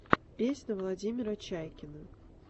песня владимира чайкина